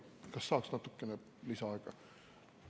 Kas saaks natukene lisaaega?